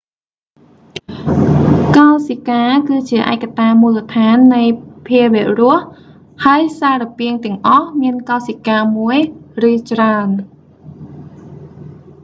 កោសិកាគឺជាឯកតាមូលដ្ឋាននៃភាវៈរស់ ហើយសារពាង្គទាំងអស់ មានកោសិកាមួយ ឬច្រើន